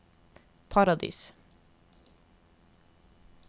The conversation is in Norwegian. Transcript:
Paradis